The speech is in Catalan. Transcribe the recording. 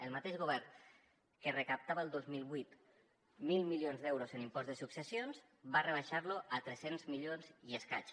el mateix govern que recaptava el dos mil vuit mil milions d’euros en impost de successions va rebaixar lo a tres cents milions i escaig